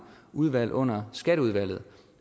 udvalg under skatteudvalget